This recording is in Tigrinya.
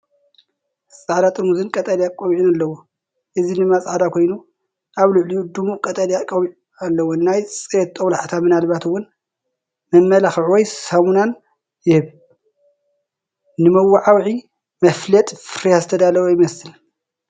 ጻዕዳ ጥርሙዝን ቀጠልያ ቆቢዕን ኣለዎ፡ እዚ ድማ ጻዕዳ ኮይኑ፡ ኣብ ልዕሊኡ ድሙቕ ቀጠልያ ቆቢዕ ኣለዎ። ናይ ጽሬት ጦብላሕታን ምናልባት እውን መመላኽዒ ወይ ሳሙናን ይህብ፤ ንመወዓውዒ /መፋለጢ ፍርያት ዝተዳለወ ይመስል።